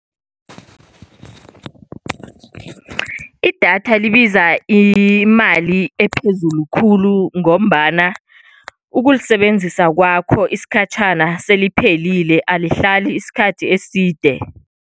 Idatha libiza imali ephezulu khulu, ngombana ukulisebenzisa kwakho isikhatjhana seliphelile, alisahlali isikhathi eside.